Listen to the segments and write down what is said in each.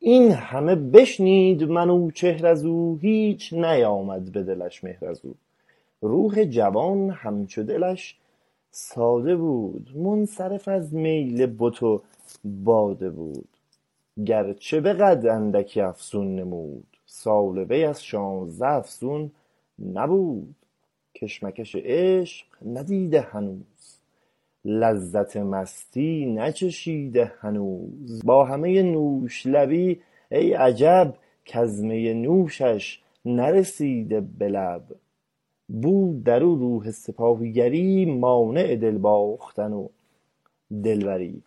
این همه بشنید منوچهر از او هیچ نیامد به دلش مهر از او روح جوان همچو دلش ساده بود منصرف از میل بت و باده بود گرچه به قد اندکی افزون نمود سال وی از شانزده افزون نبود کشمکش عشق ندیده هنوز لذت مستی نچشیده هنوز با همۀ نوش لبی ای عجب کز می نوشش نرسیده به لب بود در او روح سپاهیگری مانع دل باختن و دلبری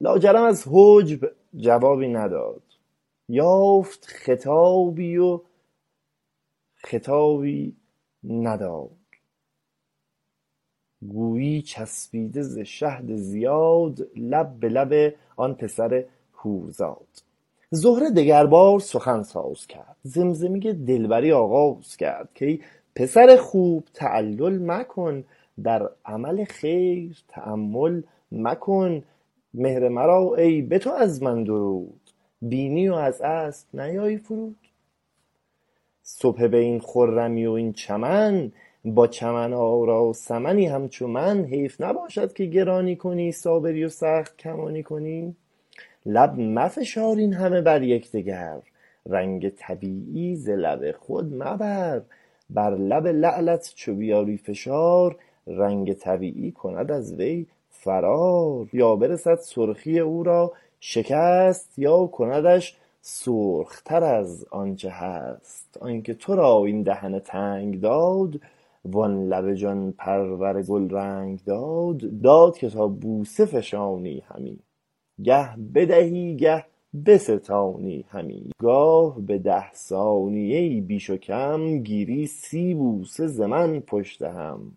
لاجرم از حجب جوابی نداد یافت خطابی و خطابی نداد گویی چسبیده ز شهد زیاد لب به لب آن پسر حور زاد زهره دگر باره سخن ساز کرد زمزمۀ دلبری آغاز کرد کای پسر خوب تعلل مکن در عمل خیر تأمل مکن مهر مرا ای به تو از من درود بینی و از اسب نیایی فرود صبح به این خرمی و این چمن با چمن آرا صنمی همچو من حیف نباشد که گرانی کنی صابری و سخت گمانی کنی لب مفشار اینهمه بر یکدگر رنگ طبیعی ز لب خود مبر یا برسد سرخی او را شکست یا کندش سرخ تر از آنچه هست آنکه ترا این دهن تنگ داد وان لب جان پرور گلرنگ داد داد که تا بوسه فشانی همی گه بدهی گه بستانی همی گاه به ده ثانیه بی بیش و کم گیری سی بوسه زمن پشت هم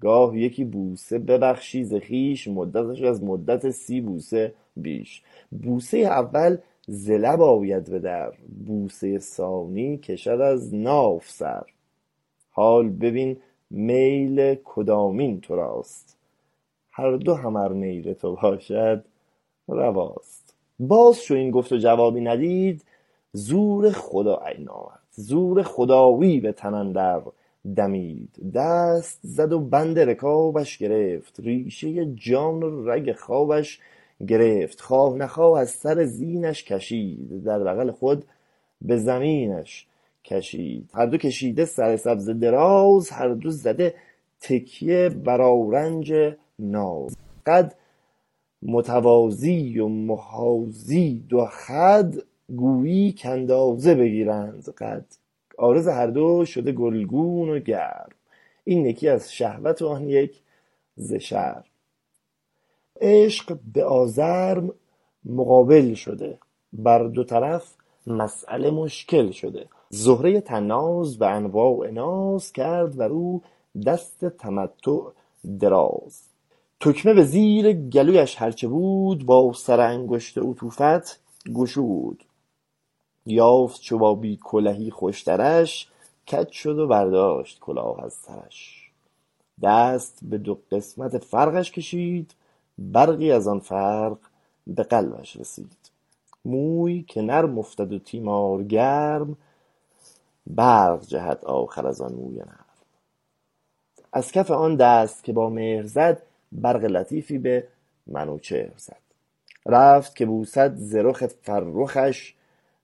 گاه یکی بوسه ببخشی ز خویش مدتش از مدت سی بوسه بیش بوسۀ اول ز لب آید به در بوسۀ ثانی کشد از ناف سر حال ببین میل کدامین تراست هر دو هم ارمیل تو باشد رواست باز چو این گفت و جوابی ندید زور خدایی به تن اندر دمید دست زد و بند رکابش گرفت ریشۀ جان و رگ خوابش گرفت خواه نخواه از سر زینش کشید در بغل خود به زمینش کشید هر دو کشیده سر سبزه دراز هر دو زده تکیه بر آرنج ناز قد متوازی و محاذی دو خد گویی کاندازه بگیرند قد عارض هر دو شده گلگون و گرم این یکی از شهوت و آن یک ز شرم عشق به آزرم مقابل شده بر دو طرف مسأله مشکل شده زهرۀ طناز به انواع ناز کرد بر او دست تمتع دراز تکمه به زیر گلویش هرچه بود با سر انگشت عطوفت گشود یافت چو با بی کلهی خوشترش کج شد و برداشت کلاه از سرش دست به دو قسمت فرقش کشید برقی از آن فرق به قلبش رسید موی که نرم افتد و تیمار گرم برق جهد آخر از آن موی نرم از کف آن دست که با مهر زد برق لطیفی به منوچهر زد رفت که بوسد ز رخ فرخش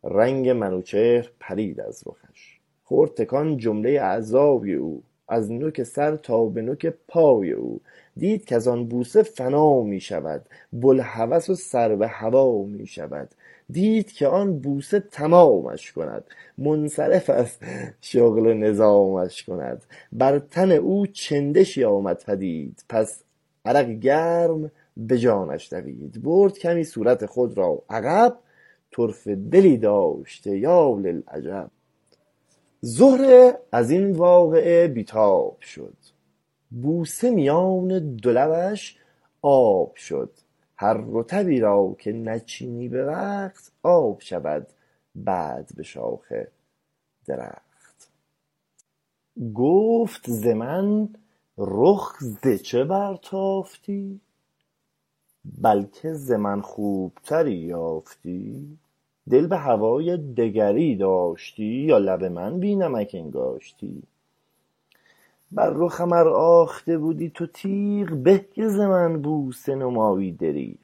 رنگ منوچهر پرید از رخش خورد تکان جملۀ اعضای او از نک سر تا به نک پای او دید کز آن بوسه فنا می شود بوالهوس و سر بهوا می شود دید که آن بوسه تمامش کند منصرف از شغل نظامش کند بر تن او چندشی آمد پدید پس عرقی گرم به جانش دوید برد کمی صورت خود را عقب طرفه دلی داشته یا للعجب زهره از این واقعه بی تاب شد بوسه میان دو لبش آب شد هر رطبی را که نچینی به وقت آب شود بعد به شاخ درخت گفت ز من رخ ز چه بر تافتی بلکه ز من خوب تری یافتی دل به هوای دگری داشتی یا لب من بی نمک انگاشتی بر رخم ار آخته بودی تو تیغ به که ز من بوسه نمایی دریغ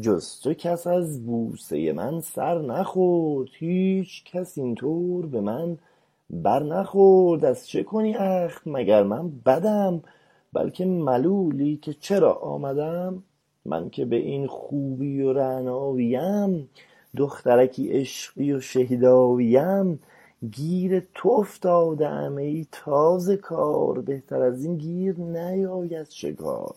جز تو کس از بوسۀ من سر نخورد هیچکس این طور به من بر نخورد از چه کنی اخم مگر من بدم بلکه ملولی که چرا آمدم من که به این خوبی و رعناییم دخترکی عشقی و شیداییم گیر تو افتاده ام ای تازه کار بهتر از این گیر نیاید شکار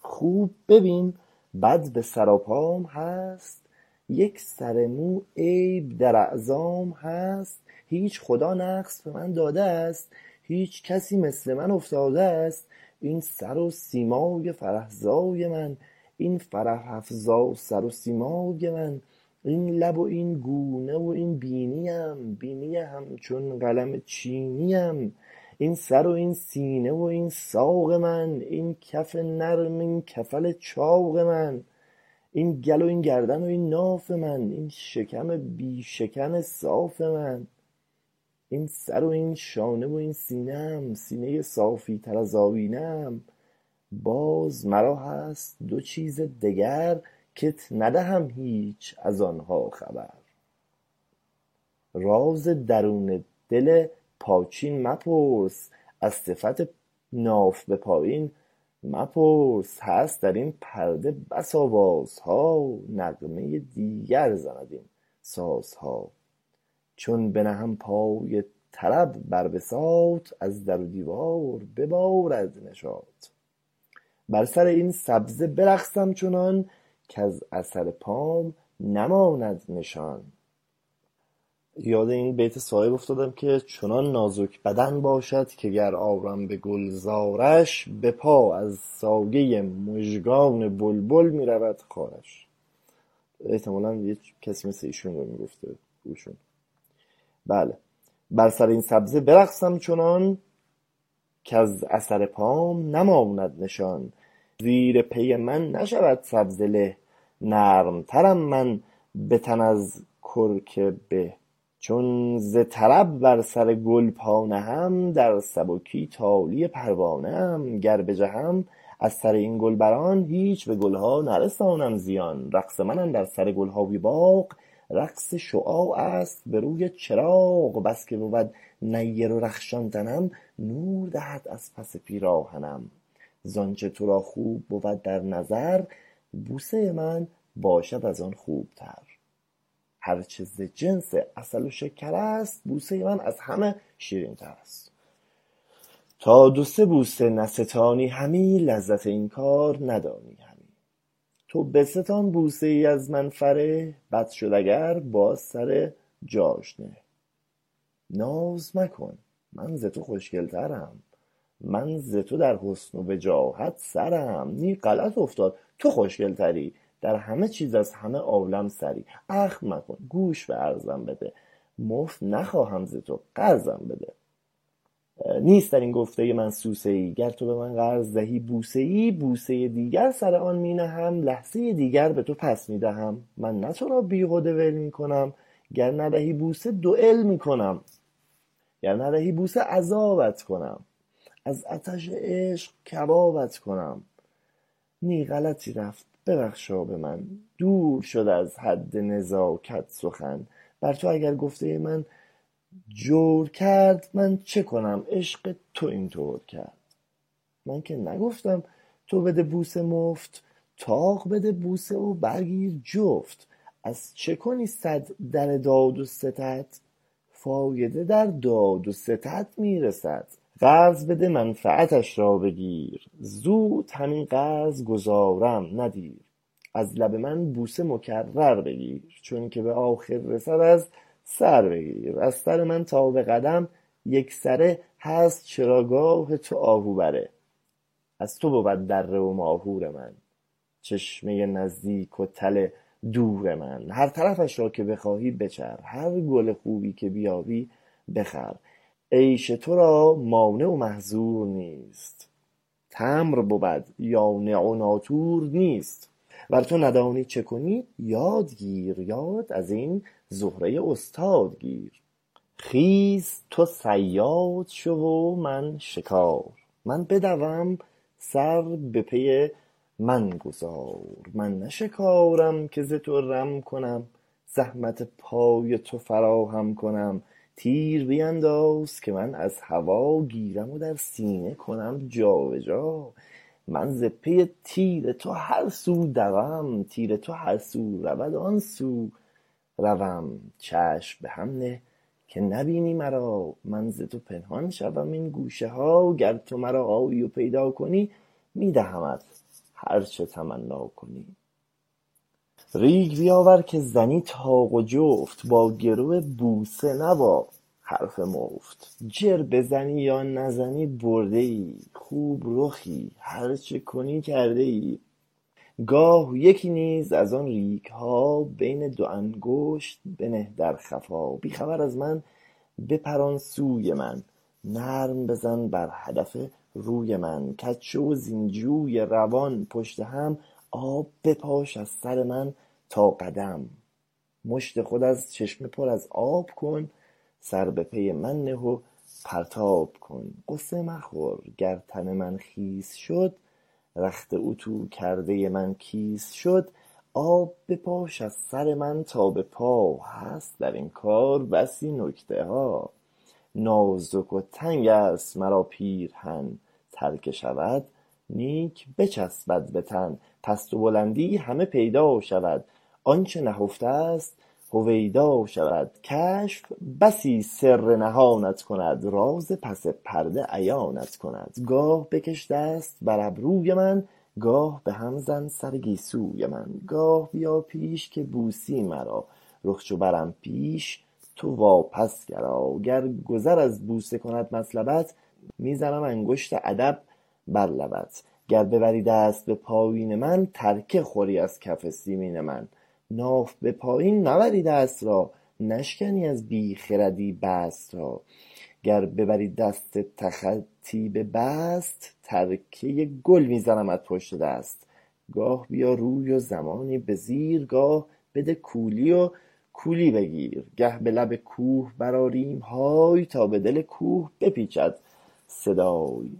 خوب ببین بد به سراپام هست یک سر مو عیب در اعضام هست هیچ خدا نقص به من داده است هیچ کسی مثل من افتاده است این سر و سیمای فرح زای من این فرح افزا سر و سیمای من این لب و این گونه و این بینیم بینی همچون قلم چینیم این سر و این سینه و این ساق من این کف نرم این کفل چاق من این کل و این گردن و این ناف من این شکم بی شکن صاف من این سر و این شانه و این سینه ام سینۀ صافی تر از آیینه ام باز مرا هست دو چیز دگر کت ندهم هیچ از آنها خبر راز درون دل پاچین مپرس از صفت ناف به پایین مپرس هست در این پرده بس آوازه ها نغمۀ دیگر زند این سازها چون بنهم پای طرب بر بساط از در و دیوار ببارد نشاط بر سر این سبزه برقصم چنان کز اثر پام نماند نشان زیر پی من نشود سبزه له نرم ترم من به تن از کرک به چون ز طرب بر سر گل پا نهم در سبکی تالی پروانه ام گر بجهم از سر این گل بر آن هیچ به گل ها نرسانم زیان رقص من اندر سر گل های باغ رقص شعاع است به روی چراغ بسکه بود نیر و رخشان تنم نور دهد از پس پیراهنم زانچه ترا خوب بود در نظر بوسۀ من باشد از آن خوبتر هرچه ز جنس عسل و شکر است بوسۀ من از همه شیرین تر است تا دو سه بوسه نستانی همی لذت این کار ندانی همی تو بستان بوسه ای از من فره بد شد اگر باز سر جاش نه ناز مکن من ز تو خوشگل ترم من ز تو در حسن و وجاهت سرم نی غلط افتاد تو خوشگل تری در همه چیز از همه عالم سری اخم مکن گوش به عرضم بده مفت نخواهم ز تو قرضم بده نیست در این گفته من سوسه ای گر تو به من قرض دهی بوسه ای بوسۀ دیگر سر آن می نهم لحظۀ دیگر به تو پس می دهم من نه ترا بیهده ول می کنم گر ندهی بوسه دویل می کنم گر ندهی بوسه عذابت کنم از عطش عشق کبابت کنم نی غلطی رفت ببخشا به من دور شد از حد نزاکت سخن بر تو اگر گفتۀ من جور کرد من چه کنم عشق تو این طور کرد من که نگفتم تو بده بوسه مفت طاق بده بوسه و برگیر جفت از چه کنی سد در داد و ستد فایده در داد و ستد می رسد قرض بده منفعتش را بگیر زود هم این قرض گزارم نه دیر از لب من بوسه مکرر بگیر چون که به آخر رسد از سر بگیر از سر من تا به قدم یک سره هست چراگاه تو آهو بره از تو بود دره و ماهور آن چشمۀ نزدیک و تل دور آن هر طرفش را که بخواهی بچر هر گل خوبی که بیابی بخر عیش ترا مانع و محذور نیست تمر بود یانع و ناطور نیست ور تو ندانی چه کنی یادگیر یاد از این زهره استاد گیر خیز تو صیاد شو و من شکار من بدوم سر به پی من گذار من نه شکارم که ز تو رم کنم زحمت پای تو فراهم کنم تیر بینداز که من از هوا گیرم و در سینه کنم جابجا من ز پی تیر تو هر سو دوم تیر تو هر سو رود آن سو روم چشم به هم نه که نبینی مرا من ز تو پنهان شوم این گوشه ها گر تو مرا آیی و پیدا کنی می دهمت هر چه تمنا کنی ریگ بیاور که زنی طاق و جفت با گرو بوسه نه یا حرف مفت جر بزنی یا نزنی پرده ای خوب رخی هرچه کنی کرده ای گاه یکی نیز از آن ریگ ها بین دو انگشت بنه در خفا بی خبر از من بپران سوی من نرم بزن بر هدف روف من کج شو وزین جوی روان پشت هم آب بپاش از سر من تا قدم مشت خود از چشمه پر از آب کن سر به پی من نه و پرتاب کن غصه مخور گر تن من خیس شد رخت اتو کردۀ من کیس شد آب بپاش از سر من تا به پا هست در این کار بسی نکته ها نازک و تنگ است مرا پیرهن تر که شود نیک بچسبد به تن پست و بلندی همه پیدا شود آنچه نهفته است هویدا شود کشف بسی سر نهانت کند راز پس پرده عیانت کند گاه بکش دست بر ابروی من گاه به هم زن سر گیسوی من گاه بیا پیش که بوسی مرا رخ چو برم پیش تو وا پس گرا گر گذر از بوسه کند مطلبت می زنم انگشت ادب بر لبت گر ببری دست به پایین من ترکه خوری از کف سیمین من ناف به پایین نبری دست را نشکنی از بی خردی بست را گر ببری دست تخطی به بست ترکه گل می زنمت پشت دست گاه بیا روی و زمانی به زیر گاه بده کولی و کولی بگیر گه به لب کوه برآریم های تا به دل کوه بپیچد صدای